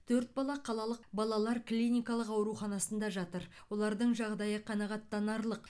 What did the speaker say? төрт бала қалалық балалар клиникалық ауруханасында жатыр олардың жағдайы қанағаттанарлық